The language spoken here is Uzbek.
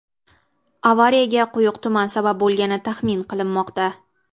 Avariyaga quyuq tuman sabab bo‘lgani taxmin qilinmoqda.